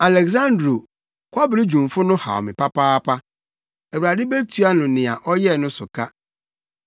Aleksandro, kɔbere dwumfo no, haw me papaapa; Awurade betua no nea ɔyɛɛ no so ka.